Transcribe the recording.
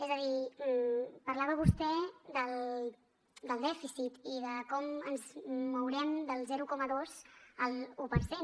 és a dir parlava vostè del dèficit i de com ens mourem del zero coma dos a l’un per cent